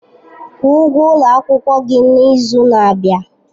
Kwuo ụgwọ ụlọ akwụkwọ gị n'izu na-abịa!